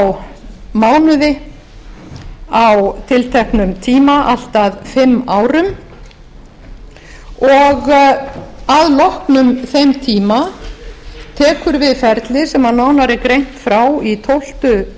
á mánuði á tilteknum tíma allt að fimm árum og að loknum þeim tíma tekur við ferli sem nánar er greint frá í tólftu